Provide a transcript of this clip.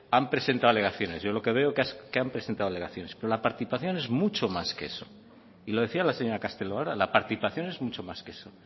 han presentado alegaciones yo lo que veo es que han presentado alegaciones pero la participación es mucho más que eso y lo decía la señora castelo ahora la participación es mucho más que eso